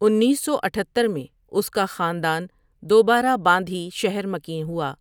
انیس سو اتھتر میں اس کا خاندان دوبارہ باندھی شہر مکین ہوا